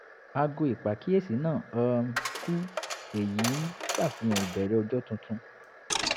aago ìpàkíyèsí náa um kú èyí ń ṣàfihàn ìbẹ̀rẹ̀ ọjọ́ tuntun